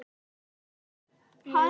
Svarið náði tilætluðum árangri.